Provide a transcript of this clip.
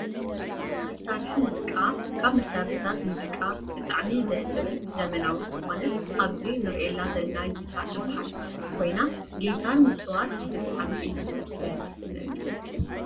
መሳሪሒ ሙዚቃ፦ ካብ መሳሪሒታት ሙዚቃ ብጣዕሚ ደስ ትብልን ዘመናዊት ዝኮነት ኣብዚ እንረኣ ዘለና ጊታር ትበሃል ኮይና ጊታር ምፅዋት ብጣዕሚ እዩ ደስ ዝብለኒ።